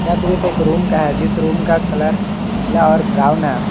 यह दृश्य रूम का है जिस रूम का कलर पीला और ब्राउन है।